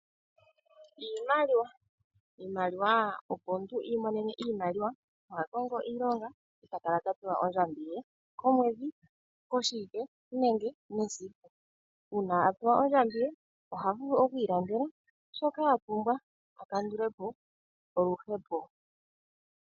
Iimaliwa. Iimaliwa, opo omuntu i imonene iimaliwa oha kongo iilonga, eta kala tapewa ondjambi ye komwedhi, koshiike nenge mesiku. Uuna apewa ondjambi ye, oha vulu okwiilandela shoka apumbwa, a kandule po oluhepo.